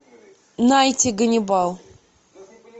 найти ганнибал